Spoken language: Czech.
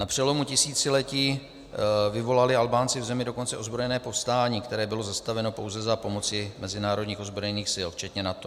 Na přelomu tisíciletí vyvolali Albánci v zemi dokonce ozbrojené povstání, které bylo zastaveno pouze za pomoci mezinárodních ozbrojených sil včetně NATO.